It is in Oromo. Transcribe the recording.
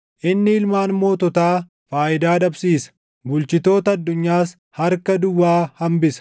Inni ilmaan moototaa faayidaa dhabsiisa; bulchitoota addunyaas harka duwwaa hambisa.